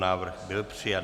Návrh byl přijat.